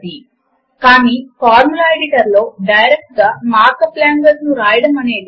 Math వినియోగము కొరకు system లో ఉండవలసినవాటి గురించి ఒకసారి చూద్దాము